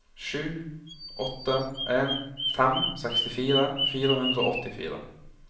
sju åtte en fem sekstifire fire hundre og åttifire